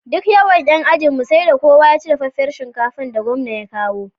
Duk yawan yan ajinmu sai da kowa yaci dafaffar shinkafar da gwamna ya kawo